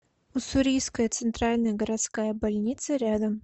уссурийская центральная городская больница рядом